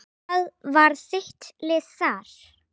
Hvað var þitt lið þar?